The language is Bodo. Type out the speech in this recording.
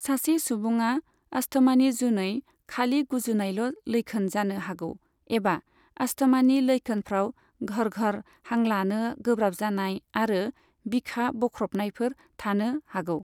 सासे सुबुङा आस्थमानि जुनै खालि गुजुनायाल' लैखोन जानो हागौ, एबा आस्थमानि लैखोनफ्राव घरघर, हां लानो गोब्राब जानाय आरो बिखा बख्रबनायफोर थानो हागौ।